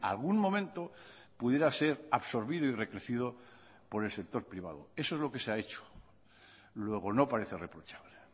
algún momento pudiera ser absorbido y recrecido por el sector privado eso es lo que se ha hecho luego no parece reprochable